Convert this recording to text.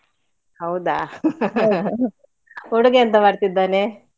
ಹೌದಾ. ಹುಡುಗ ಎಂತ ಮಾಡ್ತಿದ್ದಾನೆ?